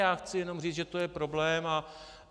Já chci jen říct, že to je problém.